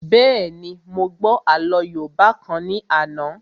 Bẹ́ẹ̀ni, mo gbọ́ àlọ́ yóòbá kan ní àná